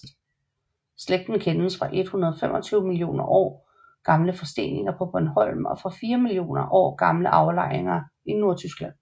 Slægten kendes fra 125 millioner år gamle forsteninger på Bornholm og fra 4 millioner år gamle aflejninger i Nordtyskland